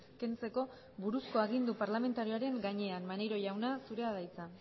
kentzeko buruzko agindu parlamentarioaren gainean maneiro jauna zurea da hitza